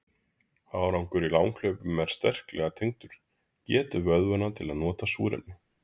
Árangur í langhlaupum er sterklega tengdur getu vöðvanna til að nota súrefni.